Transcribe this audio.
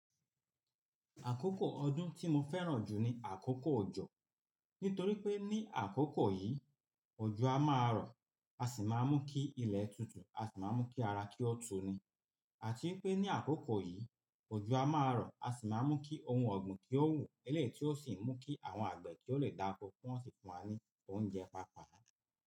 Àkókò ọdún tí mo fẹ́ràn jù ni àkókò ọjọ̀. Nítorí pé ní àkókò yìí, òjò a máa rọ̀, a sì máa mú kí ilẹ̀ tutù, a sì máa mú kí ara kí ó tùní. Àti n pé ní àkókò yìí, òjò a máa rọ̀, a sì máa mú kí ohun ọ̀gbìn kí ó wù, eléyìí tí ó sì ń mú kí àwọn àgbẹ̀ kí ó lè dáko, ki wọ́n sì fún wa ní oúnjẹ pàápàá.